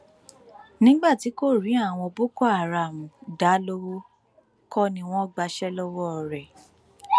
nígbà tí kò rí àwọn boko haram dá lowó kọ ni ni wọn gbàṣẹ lọwọ ẹ